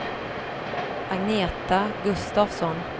Agneta Gustavsson